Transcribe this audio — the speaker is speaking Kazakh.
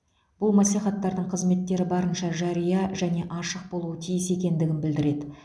бұл мәслихаттардың қызметтері барынша жария және ашық болуы тиіс екендігін білдіреді